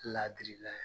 Ladirila ye